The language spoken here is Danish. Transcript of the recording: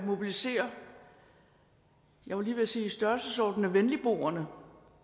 mobilisere jeg var lige ved sige i størrelsesorden med venligboerne